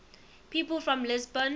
people from lisbon